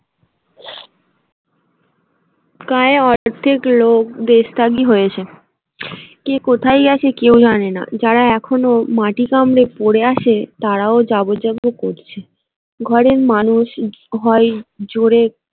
গায়ে অর্ধেক লোক দেশত্যাগী হয়েছে কে কোথায় গেছে কেউ জানে না যারা এখনো মাটি কামড়ে পড়ে আছে তারাও যাব যাব করছে ঘরের মানুষ হয় জোরে।